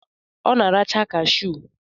Ọ na-arachaa kashụ?